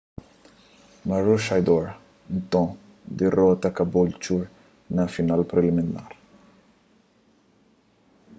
maroochydore nton dirota caboolture na final preliminar